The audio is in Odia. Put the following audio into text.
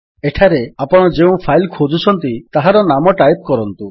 ଏଠାରେ ଆପଣ ଯେଉଁ ଫାଇଲ୍ ଖୋଜୁଛନ୍ତି ତାହାର ନାମ ଟାଇପ୍ କରନ୍ତୁ